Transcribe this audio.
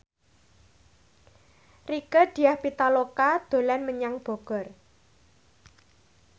Rieke Diah Pitaloka dolan menyang Bogor